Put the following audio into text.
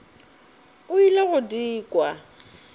o ile go di kwa